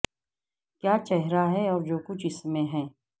کیا چہرہ ہے اور جو کچھ اس میں ہے